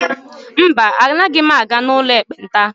mba, Anaghị m aga n'ụlọ ekpenta